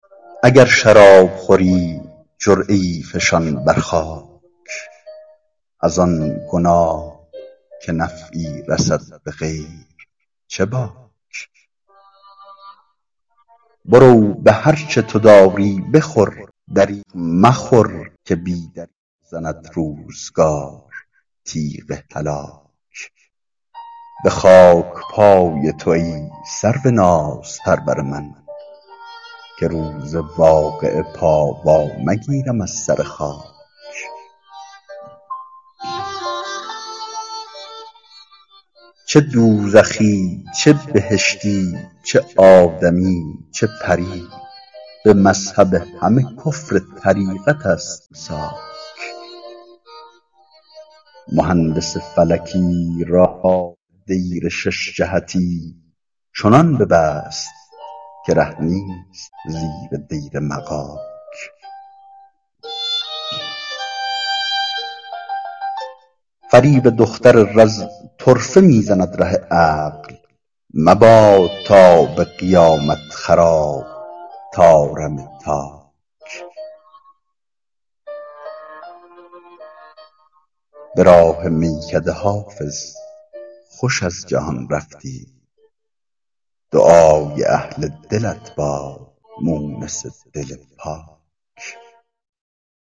اگر شراب خوری جرعه ای فشان بر خاک از آن گناه که نفعی رسد به غیر چه باک برو به هر چه تو داری بخور دریغ مخور که بی دریغ زند روزگار تیغ هلاک به خاک پای تو ای سرو نازپرور من که روز واقعه پا وا مگیرم از سر خاک چه دوزخی چه بهشتی چه آدمی چه پری به مذهب همه کفر طریقت است امساک مهندس فلکی راه دیر شش جهتی چنان ببست که ره نیست زیر دیر مغاک فریب دختر رز طرفه می زند ره عقل مباد تا به قیامت خراب طارم تاک به راه میکده حافظ خوش از جهان رفتی دعای اهل دلت باد مونس دل پاک